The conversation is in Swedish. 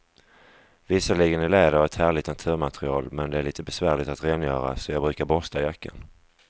Visserligen är läder ett härligt naturmaterial, men det är lite besvärligt att rengöra, så jag brukar borsta jackan.